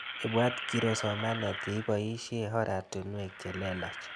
Ipwat kiro somanet ye ipoishe oratinwek che lelach